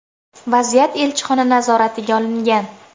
Vaziyat elchixona nazoratiga olingan.